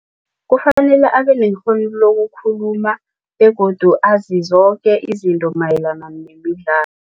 Kufanele abenekghono lokukhuluma begodu azi zoke izinto mayelana nemidlalo.